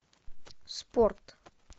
спорт